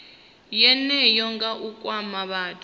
yeneyo nga u kwama vhathu